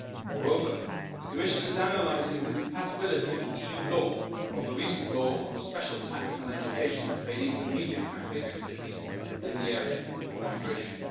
Moreover, the Commission is analysing the compatibility with EU law of Hungary's recent law on the special tax on education, training and media campaign activities in the area of migration.